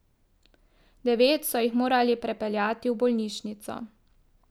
Devet so jih morali prepeljati v bolnišnico.